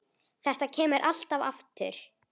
Þetta kemur alltaf aftur.